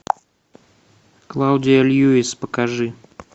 клаудия льюис покажи